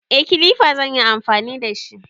Eh, Kilifa zan yi amfani da shi.